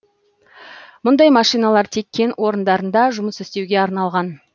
мұндай машиналар тек кен орындарында жұмыс істеуге арналған